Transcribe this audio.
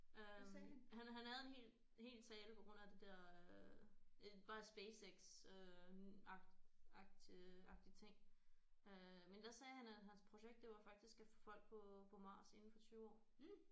Øh han han havde en hel hel tale på grund af det der øh bare SpaceX øh agtig agtig agtig ting øh men der sagde han at hans projekt det var faktisk at få folk på på Mars inden for 20 år